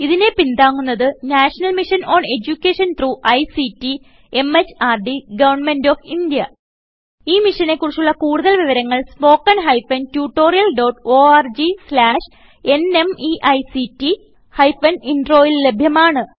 ഇതിനെ പിന്താങ്ങുന്നത് national mission on education through ICT MHRD government of India ഈ മിഷനെ കുറിച്ചുള്ള കുടുതൽ വിവരങ്ങൾ spoken hyphen tutorial dot org slash NMEICT hyphen intro ൽ ലഭ്യമാണ്